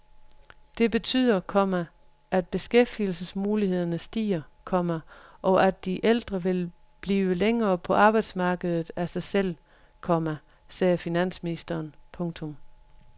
Det betyder, komma at beskæftigelsesmulighederne stiger, komma og at de ældre vil blive længere på arbejdsmarkedet af sig selv, komma sagde finansministeren. punktum